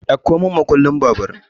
Ɗauko mun makullin babur!